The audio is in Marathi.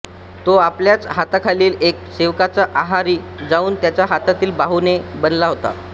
तो आपल्याच हाताखालील एका सेवकाच्या आहारी जाऊन त्याच्या हातातील बाहुले बनला होता